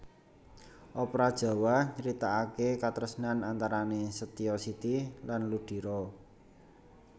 Opera Jawa nyeritakaké katresnan antarané Setyo Siti lan Ludiro